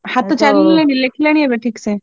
Happy ଚାଲିଲାଣି ଲେଖିଲାଣି ଏବେ ଠିକ୍ ସେ?